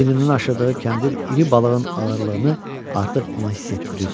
Çiyinindən aşırdığı kəndir iri balığın ağırlığını artıq ona hiss etdirirdi.